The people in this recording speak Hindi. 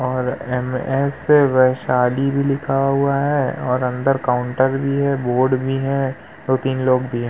और एम.एस. वैशाली भी लिखा हुआ है और अन्दर काउंटर भी है बोर्ड भी है दो-तीन लोग भी हैं।